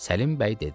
Səlim bəy dedi: